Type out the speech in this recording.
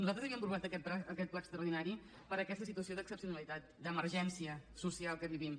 nosaltres havíem aprovat aquest ple extraordinari per aquesta situació d’excepcionalitat d’emergència social que vivim